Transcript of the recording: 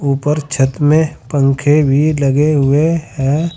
ऊपर छत में पंखे भी लगे हुए हैं।